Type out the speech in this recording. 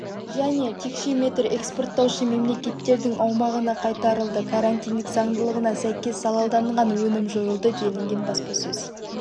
және текше метр экспорттаушы мемлекеттердің аумағына қайтарылды карантиндік заңдылығына сәйкес залалданған өнім жойылды делінген баспасөз